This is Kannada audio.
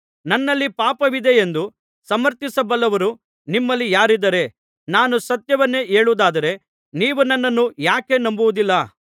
ನನ್ನಲ್ಲಿ ಪಾಪವಿದೆಯೆಂದು ಸಮರ್ಥಿಸಬಲ್ಲವರು ನಿಮ್ಮಲ್ಲಿ ಯಾರಿದ್ದಾರೆ ನಾನು ಸತ್ಯವನ್ನೇ ಹೇಳುವುದಾದರೆ ನೀವು ನನ್ನನ್ನು ಯಾಕೆ ನಂಬುವುದಿಲ್ಲ